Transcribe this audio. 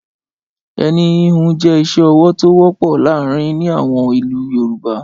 Ẹni híhun jẹ́ iṣẹ́-ọwọ́ tó wọ́pọ̀ láàárin ní àwọn ìlú Yorùbá.